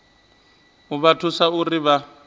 u vha thusa uri vha